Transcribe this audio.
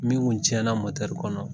Min kun tiɲɛ na kɔnɔ